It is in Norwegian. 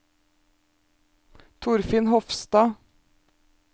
Torfinn Hofstad